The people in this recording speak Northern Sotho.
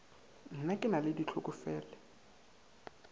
na ke na le ditlhokofele